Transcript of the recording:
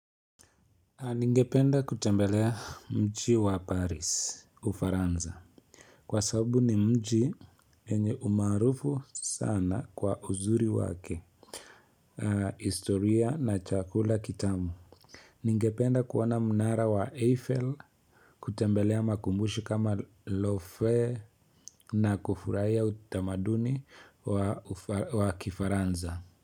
Ningependa kutembelea mji wa paris ufaransa Kwa sababu ni mji yenye umaarufu sana kwa uzuri wake historia na chakula kitamu Ningependa kuona mnara wa eiffel kutembelea makumbusho kama lawfare na kufurahia utamaduni wa kifaransa.